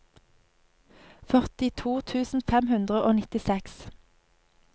førtito tusen fem hundre og nittiseks